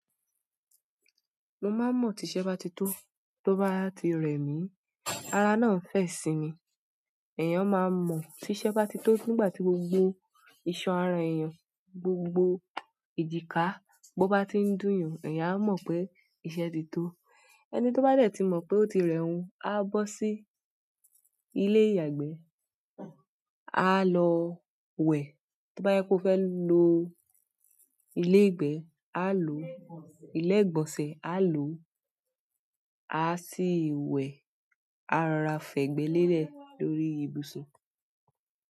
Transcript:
Mo máa mọ̀ tí iṣẹ́ bá ti tó, tó bá ti rẹ̀ mí, ara náà ń fẹ̀ sí mi. Èèyàn máa mọ̀ tí iṣẹ́ bá ti tó nígbà tí gbogbo ìṣan ara èèyàn, gbogbo ẹ̀jìká, bá ti ń dùn, èèyàn á mọ̀ pé iṣẹ́ ti tó. Ẹni tó bá dẹ̀ tí mọ̀ pé ó ti rẹ̀ ohun, á bọ́ sí ilé ìyàgbẹ́, á lọ wẹ̀. Tó bá yẹ pé ó fẹ́ lo ilé ìgbẹ́, á lo ilé ìgbọ̀nsẹ̀, á lo, á sì wẹ̀, á rọra fẹ̀gbẹ́ lélẹ̀ lórí ibùsùn.